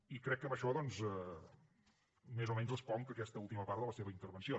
i crec que amb això doncs més o menys responc aquesta última part de la seva intervenció